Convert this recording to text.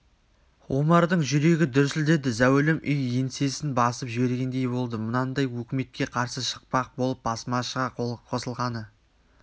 омардың жүрегі дүрсілдеді зәулім үй еңсесін басып жібергендей болды мынандай өкіметке қарсы шықпақ болып басмашыға қосылғаны